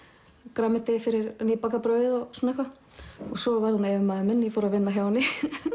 grænmeti fyrir nýbakað brauð og svona eitthvað svo varð hún yfirmaður minn ég fór að vinna hjá henni